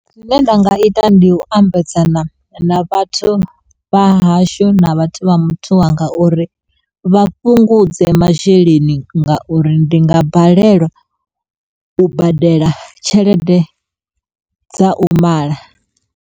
Zwine nda nga ita ndi u ambedzana na vhathu vhahashu na vhathu vha muthu wanga uri vha fhungudze masheleni ngauri ndi nga balelwa u badela tshelede dza u mala.